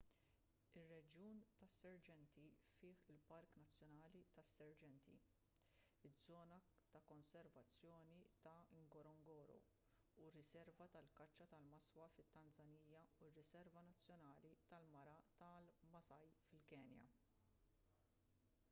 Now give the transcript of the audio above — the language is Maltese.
ir-reġjun tas-serengeti fih il-park nazzjonali tas-serengeti iż-żona ta' konservazzjoni ta' ngorongoro u r-riserva tal-kaċċa ta' maswa fit-tanżanija u r-riserva nazzjonali tal-mara tal-maasai fil-kenja